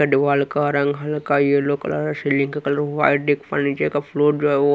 डीवाल का रंग हल्का यलो कलर सीलिंग का कलर व्हाईट एक फर्नीच का फ्लोर जो है--